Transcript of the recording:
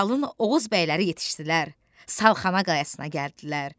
Qalın Oğuz bəyləri yetişdilər, salxana qayasına gəldilər.